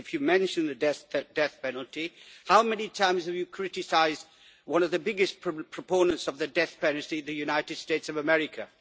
But if you mention the death penalty, how many times have you criticised one of the biggest proponents of the death penalty the United States of America?